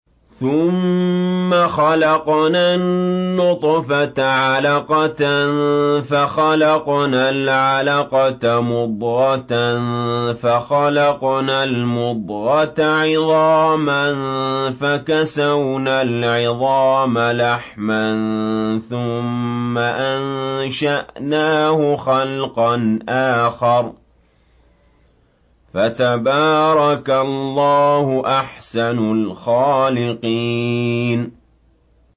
ثُمَّ خَلَقْنَا النُّطْفَةَ عَلَقَةً فَخَلَقْنَا الْعَلَقَةَ مُضْغَةً فَخَلَقْنَا الْمُضْغَةَ عِظَامًا فَكَسَوْنَا الْعِظَامَ لَحْمًا ثُمَّ أَنشَأْنَاهُ خَلْقًا آخَرَ ۚ فَتَبَارَكَ اللَّهُ أَحْسَنُ الْخَالِقِينَ